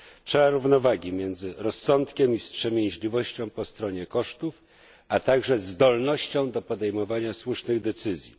Trzeba równowagi między rozsądkiem i wstrzemięźliwością po stronie kosztów, a także zdolnością do podejmowania słusznych decyzji.